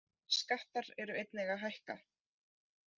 Skattar eru einnig að hækka